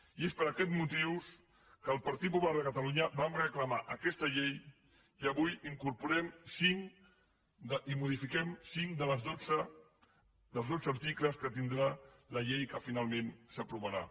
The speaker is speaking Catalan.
i és per aquests motius que el partit popular de catalunya vam reclamar aquesta llei i avui incorporem cinc i en modifiquem cinc dels dotze articles que tindrà la llei que finalment s’aprovarà